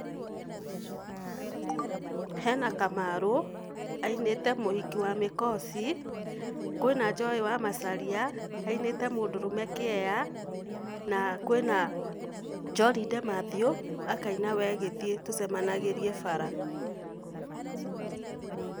Hena Kamarũ ainĩte mũhiki wa mĩkoci, kwĩna Joy wa Macharia ainĩte mũndũrũme nĩ kĩea, na kwina John De-Mathew akaina wee gĩthiĩ tũcemanagĩrie bara.